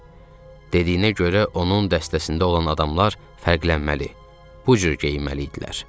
Dediyinə görə onun dəstəsində olan adamlar fərqlənməli, bu cür geyinməli idilər.